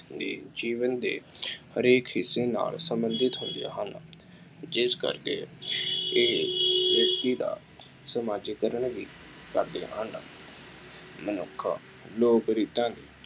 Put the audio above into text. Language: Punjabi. ਦੇ ਜੀਵਨ ਦੇ ਹਰੇਕ ਹਿੱਸੇ ਨਾਲ ਸੰਬੰਧਿਤ ਹੁੰਦੀਆਂ ਹਨ। ਜਿਸ ਕਰਕੇ ਇਹ ਵਿਅਕਤੀ ਦਾ ਸਮਾਜੀਕਰਨ ਕਰਦੀਆਂ ਹਨ। ਮਨੁੱਖ ਲੋਕ ਰੀਤਾਂ